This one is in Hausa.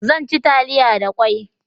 Zan ci taliya da kwai